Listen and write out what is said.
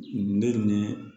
Ne ni